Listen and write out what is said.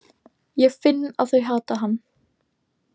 Ég finn að þau hata hann.